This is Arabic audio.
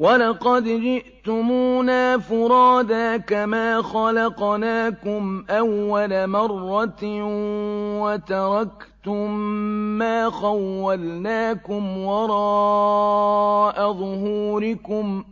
وَلَقَدْ جِئْتُمُونَا فُرَادَىٰ كَمَا خَلَقْنَاكُمْ أَوَّلَ مَرَّةٍ وَتَرَكْتُم مَّا خَوَّلْنَاكُمْ وَرَاءَ ظُهُورِكُمْ ۖ